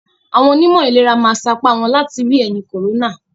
Àwọn onímọ̀ ìlera ma sapa wọ́n láti ri ẹ̀yì còrónà.